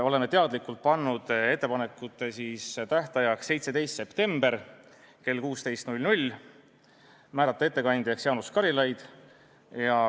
Oleme teadlikult pannud ettepanekute esitamise tähtajaks 17. septembri kell 16 ja määrasime ettekandjaks Jaanus Karilaiu.